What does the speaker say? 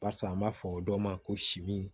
Barisa an b'a fɔ o dɔ ma ko simin